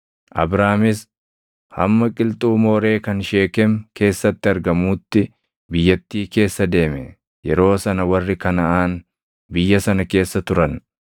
Abraamis hamma qilxuu Mooree kan Sheekem keessatti argamuutti biyyattii keessa deeme. Yeroo sana warri Kanaʼaan biyya sana keessa turan.